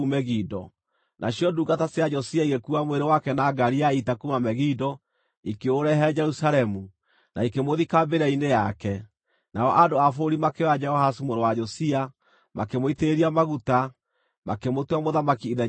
Nacio ndungata cia Josia igĩkuua mwĩrĩ wake na ngaari ya ita kuuma Megido, ikĩũrehe Jerusalemu, na ikĩmũthika mbĩrĩra-inĩ yake. Nao andũ a bũrũri makĩoya Jehoahazu mũrũ wa Josia, makĩmũitĩrĩria maguta, makĩmũtua mũthamaki ithenya rĩa ithe.